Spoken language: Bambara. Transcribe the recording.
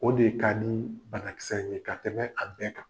O de ka nii banakisɛ ye ka tɛmɛ a bɛɛ kan.